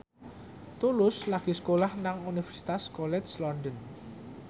Tulus lagi sekolah nang Universitas College London